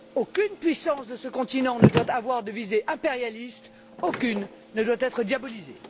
Aucune puissance de ce continent ne doit avoir de visée impérialiste, aucune ne doit être diabolisée!